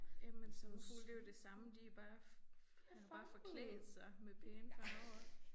Jamen sommerfugle det jo det samme. De bare har bare forklædt sig med pæne farver også